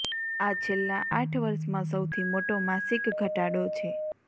આ છેલ્લાં આઠ વર્ષમાં સૌથી મોટો માસિક ઘટાડો છે